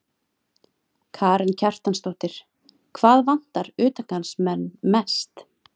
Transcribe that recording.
Karen Kjartansdóttir: Hvað vantar utangarðsmenn mest?